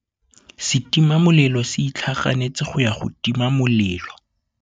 Setima molelô se itlhaganêtse go ya go tima molelô.